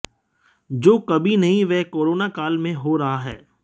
जो कभी नहीं वह कोरोना काल में हो रहा है